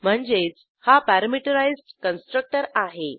म्हणजेच हा parameterised constructor आहे